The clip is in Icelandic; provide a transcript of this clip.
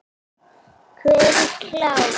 Hver er klár?